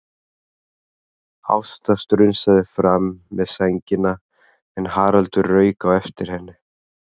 Ásta strunsaði fram með sængina en Haraldur rauk á eftir henni.